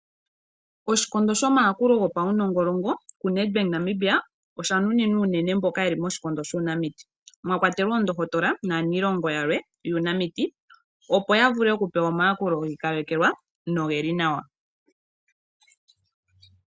Oshikondo shomayakulo gopaunongolongo kuNedBank Namibia osha nuninwa unene mboka yeli moshikondo shuunamiti mwa kwatelwa oondohotola naalonga yalwe yuunamiti opo yavule okupewa omayakulo gi ikalekelwa nogeli nawa.